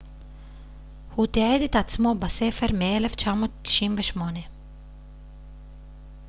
הוא תיעד את עצמו בספר מ-1998